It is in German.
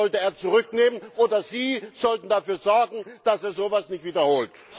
Das sollte er zurücknehmen, oder Sie sollten dafür sorgen, dass er so etwas nicht wiederholt.